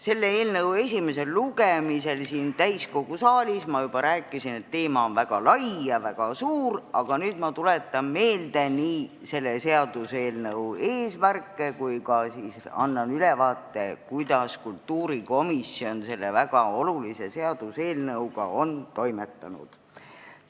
Selle eelnõu esimesel lugemisel siin täiskogu saalis ma juba rääkisin, et teema on väga lai ja suur, nüüd aga tuletan meelde selle seaduse eesmärke ning annan ka ülevaate, kuidas kultuurikomisjon on selle väga olulise seaduseelnõuga toimetanud.